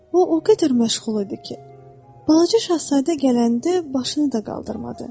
O o qədər məşğul idi ki, balaca Şahzadə gələndə başını da qaldırmadı.